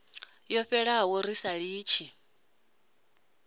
yo fhelaho ri sa litshi